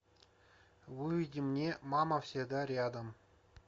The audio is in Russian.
выведи мне мама всегда рядом